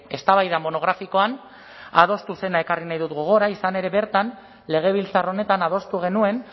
eztabaida monografikoan adostu zena ekarri nahi dut gogora izan ere bertan legebiltzar honetan adostu genuen